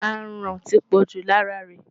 Aràn ti pọ̀jù lára rẹ̀.